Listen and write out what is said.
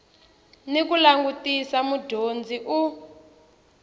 ni ku langutisa mudyondzi u